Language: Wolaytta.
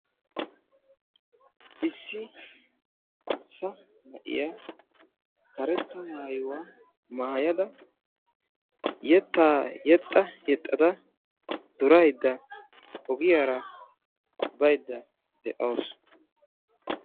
Issi arssa na'iya karetta maayuwa maayada yettaa yexxa yexxada duraydda ogiyara baydda de'awusu.